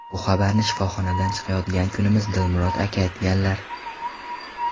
Bu xabarni shifoxonadan chiqayotgan kunimiz Dilmurod aka aytganlar.